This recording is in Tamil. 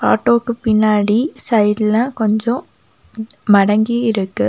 ஆட்டோக்கு பின்னாடி சைட்ல கொஞ்சம் மடங்கி இருக்கு.